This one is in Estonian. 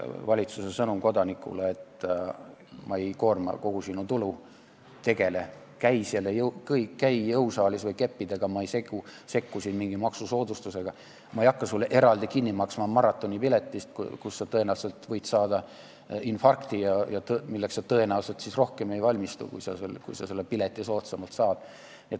Valitsuse sõnum kodanikule oleks, et ma ei koorma kogu sinu tulu, käi jõusaalis või kõnni keppidega, ma ei sekku mingi maksusoodustusega, ma ei hakka sulle eraldi kinni maksma maratonipiletit, kui sa tõenäoliselt võid sellel maratonil saada infarkti ja sa ei valmistu selleks rohkem siis, kui sa selle pileti soodsamalt saad.